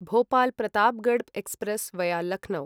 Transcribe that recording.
Bhopal Pratapgarh express via Lucknow